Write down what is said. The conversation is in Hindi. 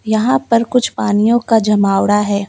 यहां पर कुछ पानियों का जमावड़ा है।